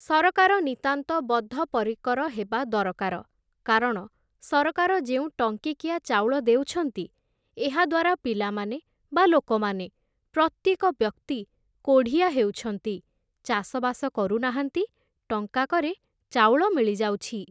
ସରକାର ନିତାନ୍ତ ବଦ୍ଧ ପରିକର ହେବା ଦରକାର କାରଣ ସରକାର ଯେଉଁ ଟଙ୍କିକିଆ ଚାଉଳ ଦେଉଛନ୍ତି, ଏହାଦ୍ୱାରା ପିଲାମାନେ ବା ଲୋକମାନେ, ପ୍ରତ୍ୟେକ ବ୍ୟକ୍ତି କୋଢ଼ିଆ ହେଉଛନ୍ତି ଚାଷବାସ କରୁନାହାନ୍ତି, ଟଙ୍କାକରେ ଚାଉଳ ମିଳିଯାଉଛି ।